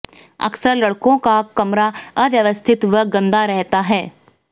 अक्सर लड़कों का कमरा अव्यवस्थित व गंदा रहता है